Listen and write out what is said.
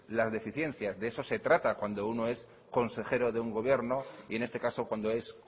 las deficiencias de eso se trata cuando uno es consejero de un gobierno y en este caso cuando es